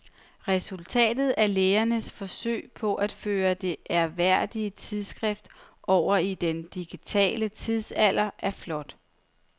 Resultatet af lægernes forsøg på at føre det ærværdige tidsskrift over i den digitale tidsalder er flot.